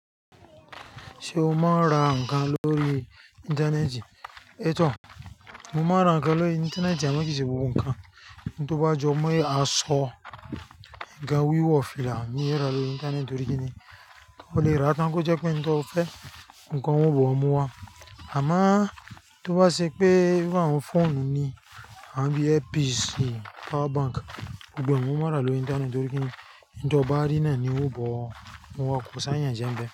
Ṣé o máa ń ra nǹkan lórí Íńtánẹ́ẹ̀tì? Ẹ́ tọ̀, mo máa ń ra nǹkan lórí Íńtánẹ́ẹ̀tì, àmọ́ kì í ṣe gbogbo nǹkan. Ni tó bá jọ mọ yé aṣọ, ńkan wíwọ fìlà, mi ò i rà á lórí Íńtánẹ́ẹ̀tì torí kíni, ó lè ra tán kí ó jẹ pé ohun tó fẹ́, oun ko wọ́n o ba ọ̀ mú wá. Àmáá tó bá ṣe pé bí i àwọn fóònù ni, àbí earpiece, power bank, gbogbo e mo máa n rà á lórí Íńtánẹ́ẹ̀tì torí kíni, ní tó bá rí náà ni ó bọ̀ mú wọ́n, kò sí àyànjẹ́ ń bẹ.